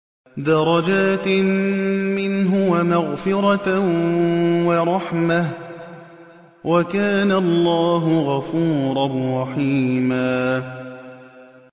دَرَجَاتٍ مِّنْهُ وَمَغْفِرَةً وَرَحْمَةً ۚ وَكَانَ اللَّهُ غَفُورًا رَّحِيمًا